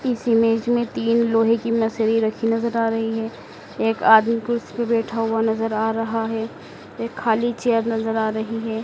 इस इमेज में तीन लोहे की रखी नजर आ रही है एक आदमी कुर्सी पर बैठा हुआ नजर आ रहा है एक खाली चेयर नजर आ रही है।